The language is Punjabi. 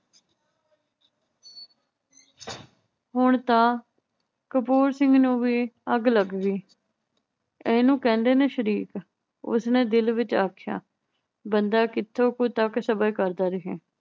ਹੁਣ ਤਾਂ ਕਪੂਰ ਸਿੰਘ ਨੂੰ ਵੀ ਅੱਗ ਗਈ। ਇਹਨੂੰ ਕਹਿੰਦੇ ਨੇ ਸ਼ਰੀਕ, ਉਸਨੇ ਦਿਲ ਵਿਚ ਆਖਿਆ, ਬੰਦਾ ਕਿਥੋਂ ਕੁ ਤੱਕ ਸਬਰ ਕਰਦਾ ਰਹੇ।